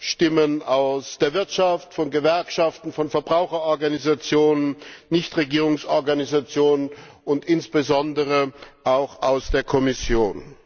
Stimmen aus der Wirtschaft, von Gewerkschaften, von Verbraucherorganisationen, Nichtregierungsorganisationen und insbesondere auch aus der Kommission.